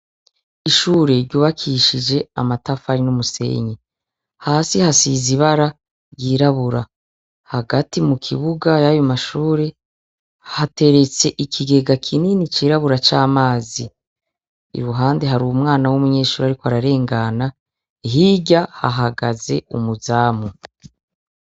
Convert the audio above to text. Ishure ryubakishije amatafari n'umusenyi hasi hasizibara ryirabura hagati mu kibuga y'abomashure hateretse ikigega kinini cirabura c'amazi i ruhande hari u mwana w'umunyeshuri, ariko ararengana hirya hahagaze umuzwa zamu.